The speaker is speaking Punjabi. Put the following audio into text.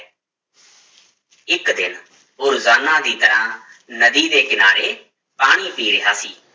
ਇੱਕ ਦਿਨ ਉਹ ਰੋਜ਼ਾਨਾ ਦੀ ਤਰ੍ਹਾਂ ਨਦੀ ਦੇ ਕਿਨਾਰੇ ਪਾਣੀ ਪੀ ਰਿਹਾ ਸੀ,